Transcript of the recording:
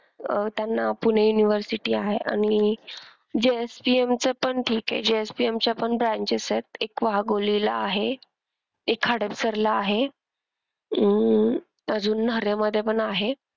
अह त्यांना पुणे university आहे आणि JSPM च पण ठीक आहे JSPM च्या पण branches आहेत एक वाघोलीला आहे. एक हडपसरला आहे अह अजून नऱ्हे मध्ये पण आहे.